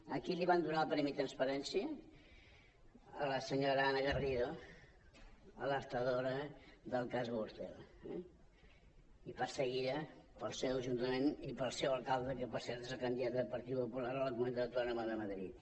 a qui li van donar el premi transparència a la senyora ana garrido alertadora del cas gürtel i perseguida pel seu ajuntament i pel seu alcalde que per cert és el candidat del partit popular a la comunitat autònoma de madrid